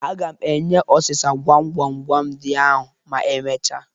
Aga m enye ọsịsa gwam gwam gwam ndị ahụ ma emechaa